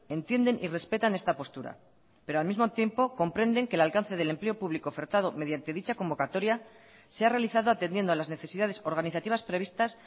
entienden y respetan esta postura pero al mismo tiempo comprenden que el alcance del empleo público ofertado mediante dicha convocatoria se ha realizado atendiendo a las necesidades organizativas previstas